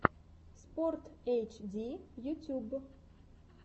спортэйчди ютуб